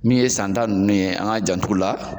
Min ye san ta nunnu ye , an k'an jantu la.